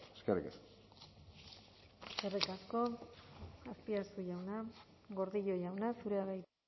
eskerrik asko eskerrik asko azpiazu jauna gordillo jauna zurea da hitza